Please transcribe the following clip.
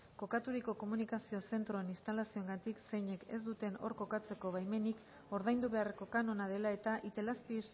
kokaturiko komunikazio zentroen instalazioengatik zeinek ez duten hor kokatzeko baimenik ordaindu beharreko kanona dela eta itelazpi